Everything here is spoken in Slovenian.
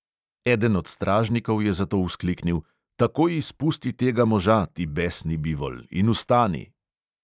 Eden od stražnikov je zato vzkliknil: "takoj izpusti tega moža, ti besni bivol, in vstani!"